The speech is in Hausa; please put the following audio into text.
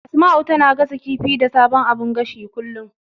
Asma'u tana gasa kifi da sabon abun gashin kullum.